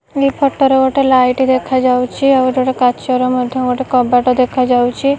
ଏହି ଫଟୋ ରେ ଗୋଟେ ଲାଇଟ୍ ଦେଖା ଯାଉଛି ଆଉ ଗୋଟେ କାଚର ମଧ୍ୟ ଗୋଟେ କବାଟ ଦେଖା ଯାଉଛି।